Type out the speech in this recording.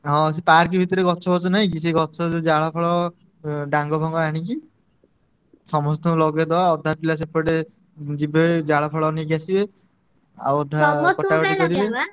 ହଁ ସେ park ଭିତରେ ଗଛଫଛ ନାହିଁ କି ସେ ଗଛ ଯୋଉ ଜାଳଫାଳ ଉ ଡାଙ୍ଗଫାଙ୍ଗ ଆଣିକି, ସମସ୍ତଙ୍କୁ ଲଗେଇଦବା ଅଧା ପିଲା ସେପଟେ ଉଁ ଯିବେ ଜାଳଫାଳ ନେଇକି ଆସିବେ। ଆଉ ଅଧା